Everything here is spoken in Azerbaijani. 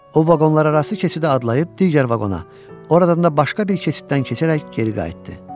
O vaqonlararası keçidə adlayıb digər vaqona, oradan da başqa bir keçiddən keçərək geri qayıtdı.